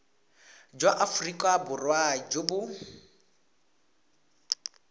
jwa aforika borwa jo bo